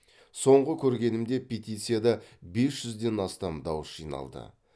соңғы көргенімде петицияда бес жүзден астам дауыс жиналды